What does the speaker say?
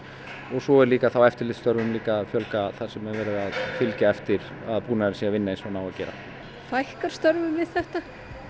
svo er eftirlitsstörfum að fjölga þar sem er verið að fylgja eftir að búnaðurinn sé að vinna eins og hann á að gera fækkar störfum við þetta